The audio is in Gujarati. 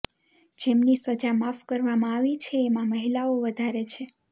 જેમની સજા માફ કરવામાં આવી છે એમાં મહિલાઓ વધારે છે